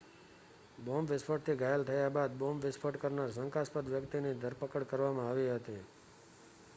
bomb વિસ્ફોટથી ઘાયલ થયા બાદ બોમ્બ વિસ્ફોટ કરનાર શંકાસ્પદ વ્યક્તિની ધરપકડ કરવામાં આવી હતી